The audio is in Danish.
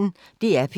DR P1